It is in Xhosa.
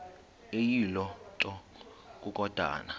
eyiloo nto kukodana